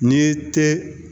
N'i te